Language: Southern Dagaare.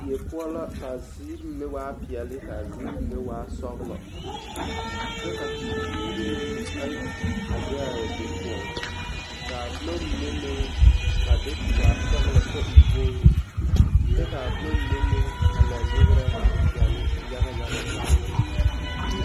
Die poɔ la k'a ziiri mine waa peɛle k'a ziiri mine waa sɔgelɔ kyɛ ka tepuuri meŋ ayi a be a be poɔŋ k'a boma mine meŋ a do te waa sɔgelɔ kyɛ e wogiri kyɛ k'a boma mine meŋ a la nyegerɛ waa peɛle yaga yaga zaa.